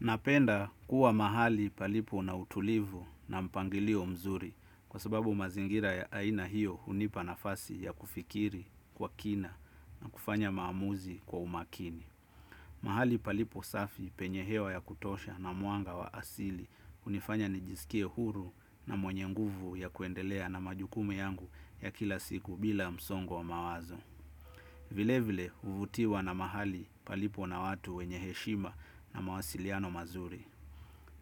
Napenda kuwa mahali palipo na utulivu na mpangilio mzuri kwa sababu mazingira ya aina hiyo hunipa nafasi ya kufikiri kwa kina na kufanya maamuzi kwa umakini. Mahali palipo safi penye hewa ya kutosha na mwanga wa asili hunifanya nijisikie huru na mwenye nguvu ya kuendelea na majukumu yangu ya kila siku bila msongo wa mawazo. Vile vile huvutiwa na mahali palipo na watu wenye heshima na mawasiliano mazuri.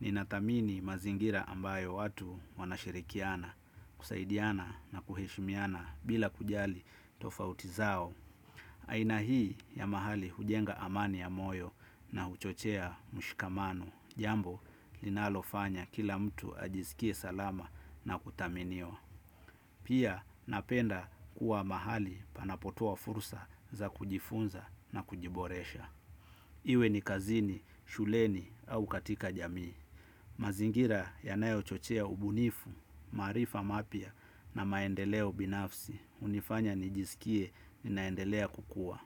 Ni nathamini mazingira ambayo watu wanashirikiana, kusaidiana na kuheshimiana bila kujali tofauti zao. Aina hii ya mahali hujenga amani ya moyo na huchochea mshikamano. Jambo linalofanya kila mtu ajisikie salama na kuthaminiwa. Pia napenda kuwa mahali panapotua fursa za kujifunza na kujiboresha. Iwe ni kazini shuleni au katika jamii mazingira ya nayo chochea ubunifu, maarifa mapya na maendeleo binafsi, hunifanya nijisikie ni naendelea kukua.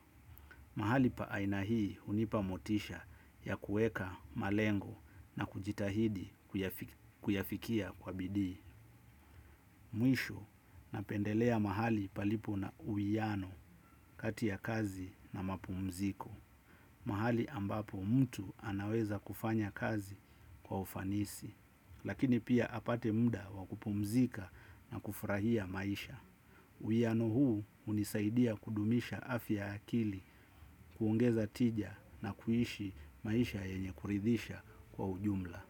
Mahali pa aina hii hunipa motisha ya kuweka malengo na kujitahidi kuyafikia kwa bidii. Mwisho na pendelea mahali palipo na uwiano katia kazi na mapumziko. Mahali ambapo mtu anaweza kufanya kazi kwa ufanisi. Lakini pia apate muda wa kupumzika na kufurahia maisha. Uwiano huu hunisaidia kudumisha afya ya akili kuongeza tija na kuishi maisha yenye kuridhisha kwa ujumla.